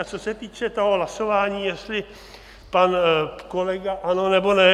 A co se týče toho hlasování, jestli pan kolega ano, nebo ne.